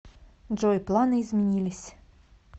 джой планы изменились